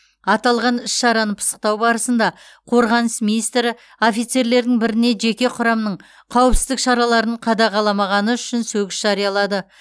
аталған іс шараны пысықтау барысында қорғаныс министрі офицерлердің біріне жеке құрамның қауіпсіздік шараларын қадағаламағаны үшін сөгіс жариялады